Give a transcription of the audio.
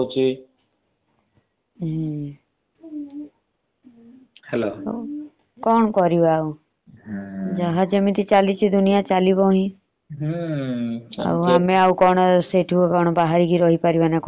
କଣ କରିବା ଆଉ। ଯାହା ଯେମିତି ଚାଲିଛି ଦୁନିୟା ଚାଲିବ ହିଁ। ଆଉ ଆମେ କଣ ସେଠୁ ବହରିକି ରହିପାରିବା ନା କଣ?